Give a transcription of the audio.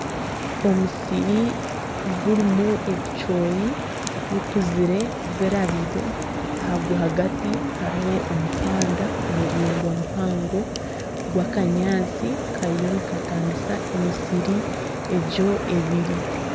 Omusiri gurimu ebicoori bikuzire birabize aha rwagati hariho omuhanda muraingwa muhango gw'akanyaatsi kariyo nikatanisa emisiri egyo ebiri.